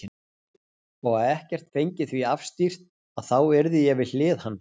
Og að ekkert fengi því afstýrt að þá yrði ég við hlið hans.